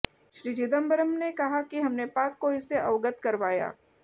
श्री चिदंबरम ने कहा कि हमने पाक को इससे अवगत करवा